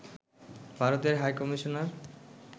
ভারতের হাইকমিশনার